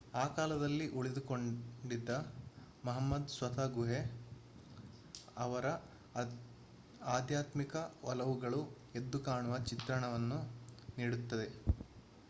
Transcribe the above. ಆ ಕಾಲದಲ್ಲಿ ಉಳಿದುಕೊಂಡಿದ ಮುಹಮ್ಮದ್ ಸ್ವತಃ ಗುಹೆ ಅವರ ಆಧ್ಯಾತ್ಮಿಕ ಒಲವುಗಳು ಎದ್ದುಕಾಣುವ ಚಿತ್ರವನ್ನು ನೀಡುತ್ತದೆ